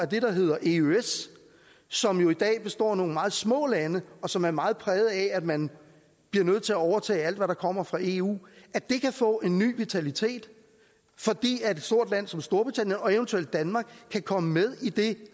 der hedder eøs som jo i dag består af nogle meget små lande og som er meget præget af at man bliver nødt til at overtage alt hvad der kommer fra eu få en ny vitalitet fordi et stort land som storbritannien og eventuelt danmark kan komme med i det